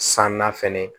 San na fɛnɛ